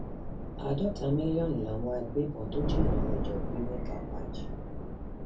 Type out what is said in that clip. àádọta mílíọnù làwọn agbébọn tó jííyàn mẹjọ gbé nìtàpàjì